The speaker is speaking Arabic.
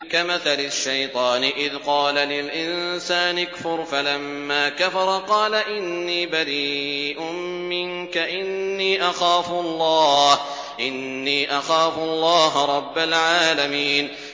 كَمَثَلِ الشَّيْطَانِ إِذْ قَالَ لِلْإِنسَانِ اكْفُرْ فَلَمَّا كَفَرَ قَالَ إِنِّي بَرِيءٌ مِّنكَ إِنِّي أَخَافُ اللَّهَ رَبَّ الْعَالَمِينَ